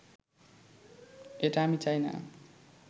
এটা আমি চাই না